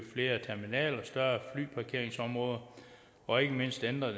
flere terminaler og større flyparkeringsområder og ikke mindst ændre